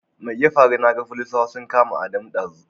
Mai ya faru naga folisawa sun kama Adamu ɗazu?